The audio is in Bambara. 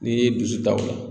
N'i ye dusu ta o ye